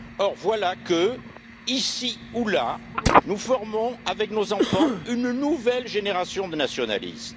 Or, voilà que, ici ou là, nous formons avec nos enfants une nouvelle génération de nationalistes.